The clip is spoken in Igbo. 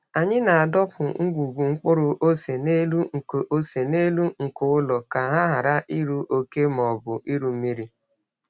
Anyị na-adọpụ ngwugwu mkpụrụ ose n’elu nko ose n’elu nko ụlọ ka ha ghara iru oke ma ọ bụ iru mmiri.